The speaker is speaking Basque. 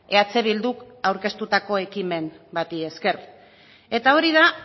eh bilduk aurkeztutako ekimen bati esker eta hori da